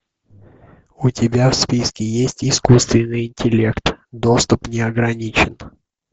у тебя в списке есть искусственный интеллект доступ не ограничен